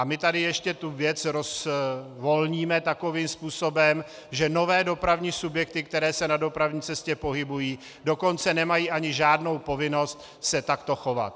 A my tady ještě tu věc rozvolníme takovým způsobem, že nové dopravní subjekty, které se na dopravní cestě pohybují, dokonce nemají ani žádnou povinnost se takto chovat.